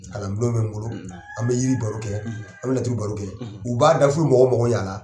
Kalan bulon bɛ n bolo ,, an bɛ yiri baro kɛ, an bɛ laturu baro kɛ, , u b'a da f'u bɛ mɔgɔw makow ɲɛ a la.